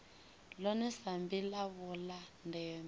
ḽone sambi ḽavho ḽa ndeme